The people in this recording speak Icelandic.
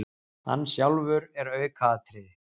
Hann sjálfur er aukaatriði.